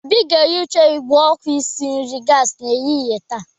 Obi ga-ehicha igwé oku isi nri gasi n'ehihie taa.